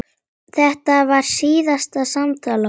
Þetta var síðasta samtal okkar.